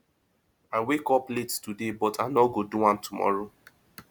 i wake up late today but i no go do am tomorrow